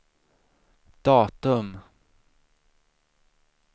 datum